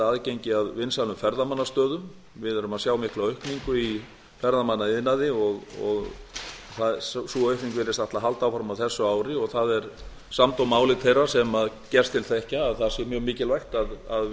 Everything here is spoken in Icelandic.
aðgengi að vinsælum ferðamannastöðum við erum að sjá mikla aukningu í ferðamannaiðnaði og sú aukning virðist ætla að halda áfram á þessu ári og það er samdóma álit þeirra sem gerst til þekkja að það sé mjög mikilvægt að